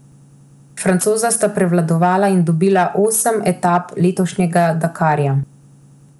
Francoza sta prevladovala in dobila osem etap letošnjega Dakarja.